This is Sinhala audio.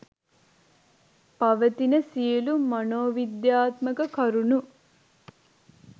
පවතින සියලු මනෝවිද්‍යාත්මක කරුණු